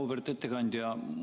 Auväärt ettekandja!